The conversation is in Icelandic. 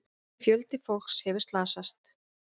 Fjöldi fólks hefur slasast.